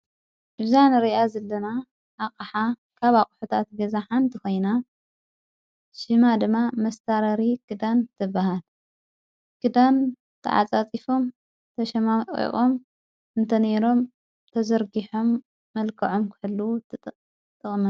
እብዛን ርኣ ዘለና ኣቕሓ ካብ ኣቝሑታት ገዛ ሓንቲ ኾይና ሽማ ድማ መሥታረሪ ክዳን ትበሃል ክዳን ተዓጻጺፎም ተሸማሚቖም እንተነይሮም ተዘርጊሖም መልከዖም ክሕሉ ጠጠዉም ።